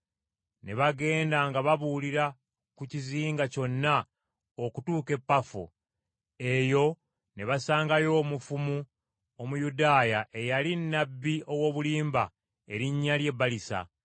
Ne bagenda nga babuulira ku kizinga kyonna okutuuka e Pafo. Eyo ne basangayo omufumu Omuyudaaya eyali nnabbi ow’obulimba, erinnya lye Balisa.